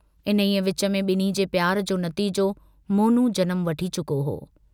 इन्हीअ विच में बिन्हीं जे प्यार जो नतीजो मोनू जनमु वठी चुको हो।